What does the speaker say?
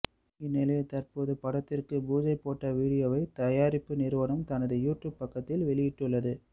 இந்நிலையில் தற்போது படத்திற்கு புஜை போடப்பட்ட வீடியோவை தயாரிப்பு நிறுவனம் தனது யூடியூப் பக்கத்தில் வெளியிட்டுள்ளது